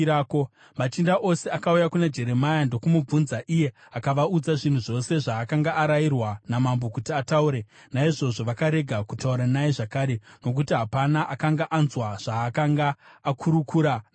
Machinda ose akauya kuna Jeremia ndokumubvunza, iye akavaudza zvinhu zvose zvaakanga arayirwa namambo kuti ataure. Naizvozvo vakarega kutaura naye zvakare, nokuti hapana akanga anzwa zvaakanga akurukura namambo.